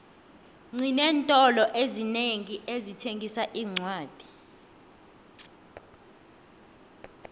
xinentolo ezinengi ezithengisa iincwadi